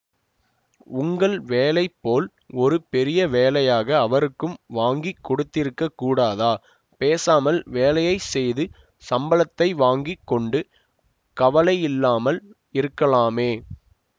உங்கள் வேலை போல் ஒரு பெரிய வேலையாக அவருக்கும் வாங்கி கொடுத்திருக்கக் கூடாதா பேசாமல் வேலையை செய்து சம்பளத்தை வாங்கி கொண்டு கவலை இல்லாமல் இருக்கலாமே